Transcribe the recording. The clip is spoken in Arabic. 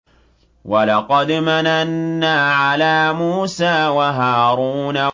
وَلَقَدْ مَنَنَّا عَلَىٰ مُوسَىٰ وَهَارُونَ